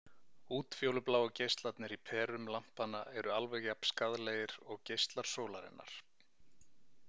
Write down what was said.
Útfjólubláu geislarnir í perum lampanna eru alveg jafnskaðlegir og geislar sólarinnar.